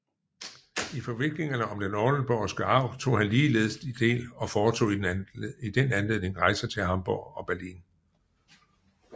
I forviklingerne om den oldenborgske arv tog han ligeledes del og foretog i den anledning rejser til Hamborg og Berlin